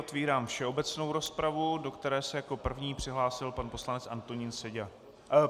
Otvírám všeobecnou rozpravu, do které se jako první přihlásil pan poslanec Antonín Seďa.